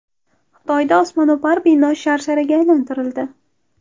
Xitoyda osmono‘par bino sharsharga aylantirildi .